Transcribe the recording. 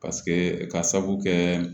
ka sabu kɛ